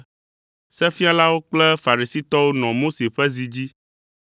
“Sefialawo kple Farisitɔwo nɔ Mose ƒe zi dzi,